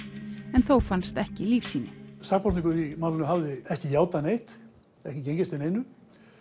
en þó fannst ekki lífsýni sakborningur í málinu hafði ekki játað neitt ekki gengist við neinu